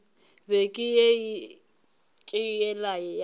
beke ye ke yela ya